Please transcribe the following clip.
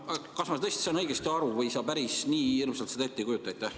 Kas ma tõesti saan õigesti aru või sa päris nii hirmsalt seda siiski ette ei kujuta?